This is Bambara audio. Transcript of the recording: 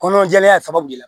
Kɔnɔjɛlenya sababu la